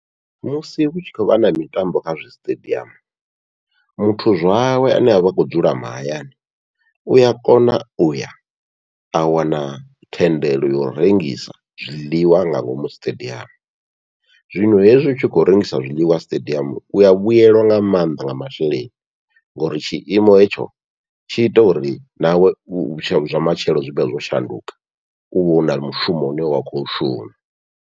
Musi hutshi khou vha na mitambo kha zwisiṱediamu, muthu zwawe ane avha akho dzula mahayani uya kona uya a wana thendelo yau rengisa zwiḽiwa nga ngomu siṱediamu, zwino hezwi u tshi khou rengisa zwiḽiwa siṱediamu uya vhuyelwa nga maanḓa nga masheleni ngauri tshiimo hetsho tshi ita uri nawe zwa matshelo zwivhe zwo shanduka, uvha u na mushumo une wa khou shuma.